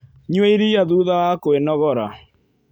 Nyua ĩrĩa thũtha wa kwĩnogora